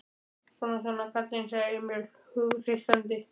Svona, svona, kallinn, sagði Emil hughreystandi.